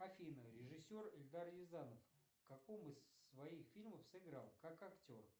афина режиссер эльдар рязанов в каком из своих фильмов сыграл как актер